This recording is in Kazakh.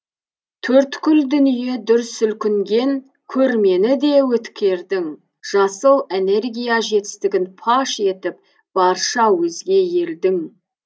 төрткүл дүние дүр сілкінген көрмені де өткердің жасыл энергия жетістігін паш етіп барша өзге елдің